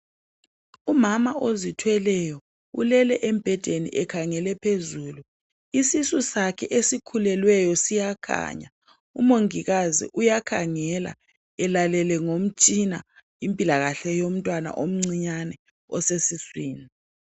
Umama ozithweleyo ulele embhedeni ekhangele phezulu isisu sakhe esikhulelweyo siyakhanya umongikazi uyakhangela elalele ngomtshina impilakahle yomntwana omnciyane osesiswini.